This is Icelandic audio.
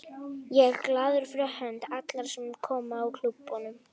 Ég er glaður fyrir hönd allra sem koma að klúbbnum.